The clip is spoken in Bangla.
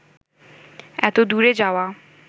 এত দূরে যাওয়া